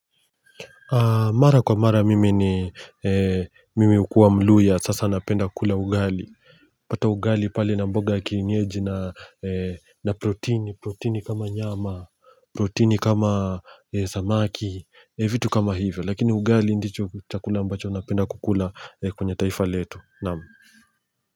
Mara kwa mara mimi ni mimi ukuwa mluhya sasa napenda kukula ugali pata ugali pale na mboga ya kienyeji na proteini, proteini kama nyama, proteini kama samaki, vitu kama hivyo lakini ugali ndicho chakula ambacho napenda kukula kwenye taifa letu Naam.